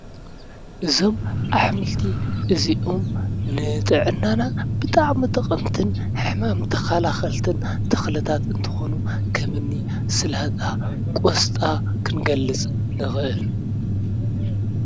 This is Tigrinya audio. እዞም ኣሕምልቲ እዚኦም ነጥዕናና ብጣዕሚ ጠቀምቲ ሕማም ተከላከልቲ እንትኮኑ ከምኒ ስላጣን ቆስጣን ክንገልፅ ንኽእል።